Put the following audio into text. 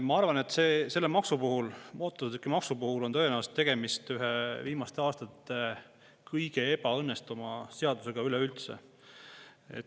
Ma arvan, et selle maksu puhul, mootorsõidukimaksu puhul on tõenäoliselt tegemist ühe viimaste aastate kõige ebaõnnestunuma seadusega üleüldse.